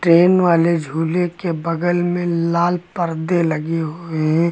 Train वाले झूले के बगल में लाल पर्दे लगे हुए हैं।